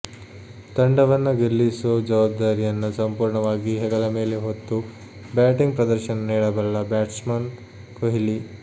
ತಂಡವನ್ನ ಗೆಲ್ಲಿಸೋ ಜವಾಬ್ದಾರಿಯನ್ನ ಸಂಪೂರ್ಣವಾಗಿ ಹೆಗಲ ಮೇಲೆ ಹೊತ್ತು ಬ್ಯಾಟಿಂಗ್ ಪ್ರದರ್ಶನ ನೀಡಬಲ್ಲ ಬ್ಯಾಟ್ಸ್ಮನ್ ಕೊಹ್ಲಿ